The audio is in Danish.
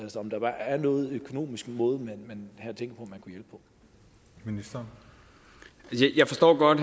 om der er nogen økonomisk måde man havde tænkt sig